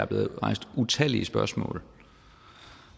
blevet rejst utallige spørgsmål